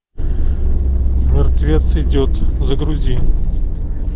мертвец идет загрузи